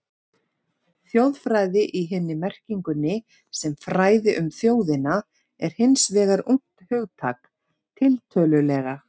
Þjóðfræði í hinni merkingunni, sem fræði um þjóðina, er hins vegar ungt hugtak, tiltölulega.